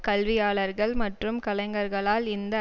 கல்வியாளர்கள் மற்றும் கலைஞர்களால் இந்த